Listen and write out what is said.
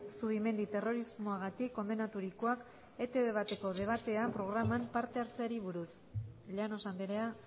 zubimendi terrorismoagatik kondenaturikoak etb bateko debatea programan parte hartzeari buruz llanos andrea